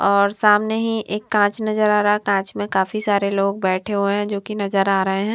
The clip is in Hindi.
और सामने ही एक कांच नजर आ रहा है। कांच में काफी सारे लोग बैठे हुए हैं जो की नजर आ रहें हैं।